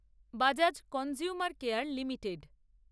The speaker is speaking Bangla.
Bajaj consumer care limited